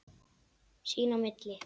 Sín á milli.